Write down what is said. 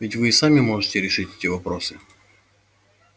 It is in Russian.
ведь вы и сами можете решить эти вопросы